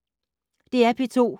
DR P2